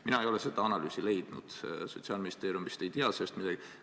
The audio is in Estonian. Mina ei ole seda analüüsi Sotsiaalministeeriumist leidnud, ei tea sellest midagi.